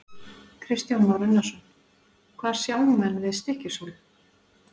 Kristján Már Unnarsson: Hvað sjá menn við Stykkishólm?